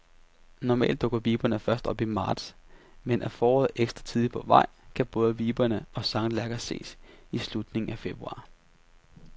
Normalt dukker viberne først op i marts, men er foråret ekstra tidligt på vej, kan både viber og sanglærker ses i slutningen af februar.